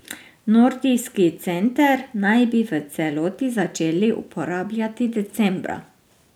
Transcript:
Nordijski center naj bi v celoti začeli uporabljati decembra.